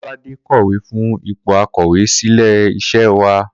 Kó̩ládé kò̩wé fún ipò akò̩wé sílé is̩é̩ wa